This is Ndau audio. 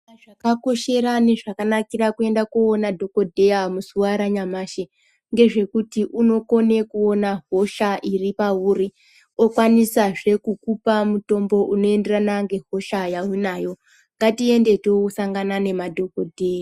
Zvakakoshera nezvakanikra kuende koona dhokodheya muzuwa ranyamashi ngezvekuti unokna kuona hosha iripauri okwanisazve kukupa mutombo unoenderana nehosha yaunayo ngatiende tosangana nemadhokodheya.